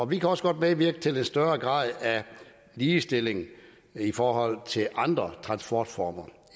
vi kan også godt medvirke til en større grad af ligestilling i forhold til andre transportformer